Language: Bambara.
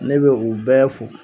Ne be u bɛɛ fo